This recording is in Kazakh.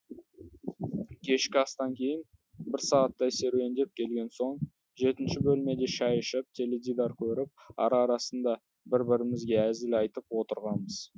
кешкі астан кейін бір сағаттай серуендеп келген соң жетінші бөлмеде шәй ішіп теледидар көріп ара арасында бір бірімізге әзіл айтып отырғанбыз